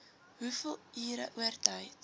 hoeveel ure oortyd